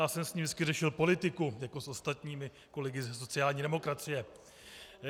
Já jsem s ním vždycky řešil politiku jako s ostatními kolegy ze sociální demokracie.